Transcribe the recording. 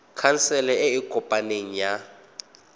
khansele e e kopaneng ya